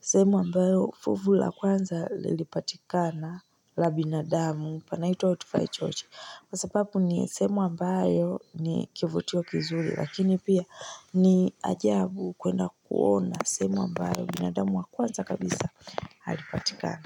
sehemu ambayo fuvu la kwanza lilipatikana la binadamu panaitwa utufa echochi. Kwa sababu ni semu ambayo ni kivutio kizuri lakini pia ni ajabu kwenda kuona semu ambayo binadamu wa kwanza kabisa halipatikana.